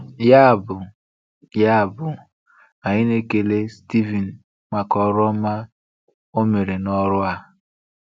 Ya bụ, Ya bụ, anyị na-ekele Steven maka ọrụ ọma o mere n’ọrụ a.